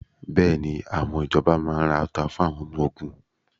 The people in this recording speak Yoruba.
Bẹ́ẹ̀ni, àwọn ìjọba máa ra ọta fún àwọn ọmọ ogun?